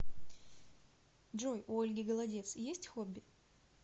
джой у ольги голодец есть хобби